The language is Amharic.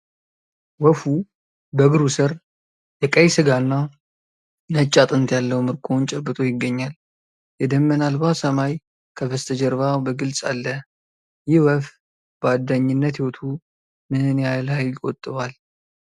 ወፉ በእግሩ ስር የቀይ ሥጋ እና ነጭ አጥንት ያለው ምርኮውን ጨብጦ ይገኛል። የደመና አልባ ሰማይ ከበስተጀርባ በግልጽ አለ። ይህ ወፍ በአዳኝነት ሕይወቱ ምን ያህል ኃይል ይቆጥባል?